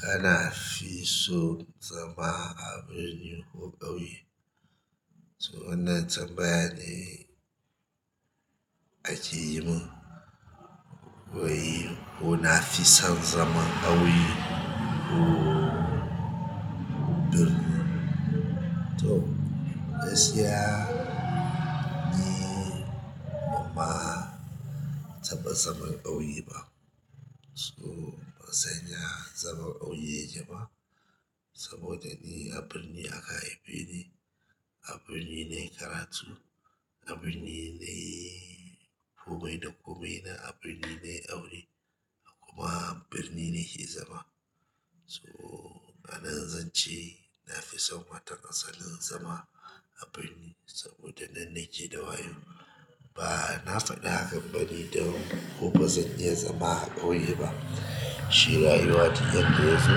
Kana fi so zama a birni ko ƙauye? To wannan tambaya ne a ke yi mun. Wai ko nafi son zaman ƙauye ko birni? To gaskiya ni ban ma taɓa zaman ƙauye ba. So bansan ya zaman ƙauye yake ba saboda ni a birni aka haife ni, a birni nayi karatu, a birni nayi komai da komai na a birni nayi aure kuma birni ne ke zama. So anan zan ce nafi son waton asalin zama a birni saboda nan naƙe da wayo. Ba na faɗa hakan bane don ko bazan iya zama a ƙauye ba. Shi rayuwa duk yadda yazo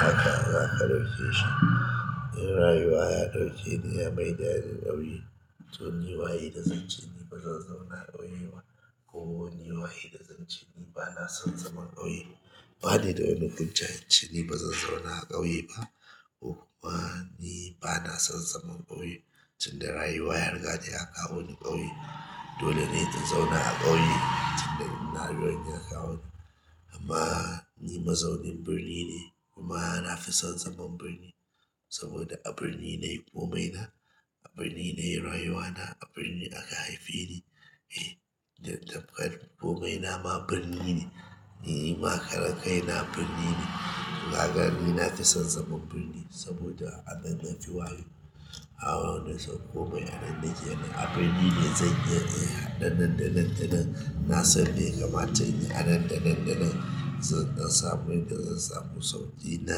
haka za ka ɗauke shi. In rayuwa ya ɗauke ni ya maida ni ƙauye to ni waye da zan ce ni bazan zauna a ƙauye ba ko ni waye da zan ce ni bana son zaman ƙauye. Ba ni da wani hujja in ce ni bazan zauna a ƙauye ba ko ma ni bana son zaman ƙauye. Tun da rayuwa ya riga da ya kawo ni ƙauye, dole ne in zauna a ƙauye tun da nan rayuwa ya kawo ni. Amma ni mazaunin birni ne kuma na fi son zaman birni saboda a birni nayi komai na, a birni ne rayuwa na, a birni aka haife ni. Eh, tamkar komai na ma birni ne, ni ma karen kai na birni ne. Kaga ni na fi son zaman birni saboda a nan na fi wayo. Nasan komai anan nake a birni ne zan iya in haɗa nan da nan da nan a nan, da nan, da nan zan samu inda zan samu sauƙi na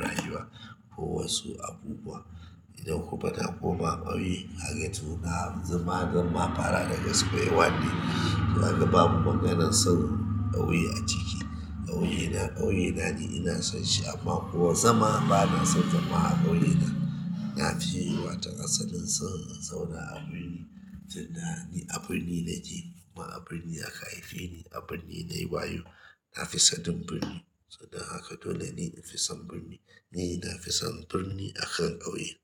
rayuwa ko wasu abubuwa. Idan kuma na koma ƙauye, gaka to zama zan ma fara daga square one ne. Kaga bamu maganan son ƙauye a ciki. Ƙauye na ƙauye na ne ina son shi amma kuwa zama bana son zama a ƙauye na. Na fi wayo ta asalin son in zauna a birni tun da ni a birni nake kuma a birni aka haife ni, a birni nayi wayo. Na fi sanin birni, saboda haka dole ne in fi son birni. Ni na fi son birni akan ƙauye.